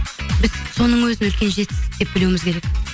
біз соның өзін үлкен жетістік деп білуіміз керек